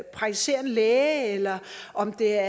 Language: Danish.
praktiserende læge eller om det er